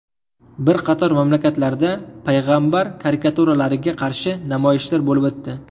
Bir qator mamlakatlarda payg‘ambar karikaturalariga qarshi namoyishlar bo‘lib o‘tdi.